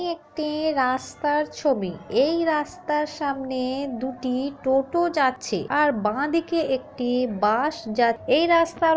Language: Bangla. এটি একটি-ই রাস্তার ছবি এই রাস্তার সামনে-এ দুটি টোটো যাচ্ছে আর বা দিকে একটি বাস যা এই রাস্তার--